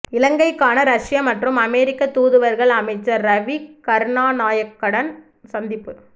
இலங்கைக்கான ரஷ்ய மற்றும் அமெரிக்க தூதுவர்கள் அமைச்சர் ரவி கருணாநாயக்கடன் சந்திப்பு